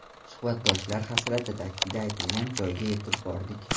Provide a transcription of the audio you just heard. Suhbatdoshlar hasrati Taksida aytilgan joyga yetib bordik.